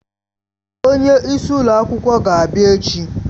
Onye isi ụlọ akwụkwọ ga-abịa echi.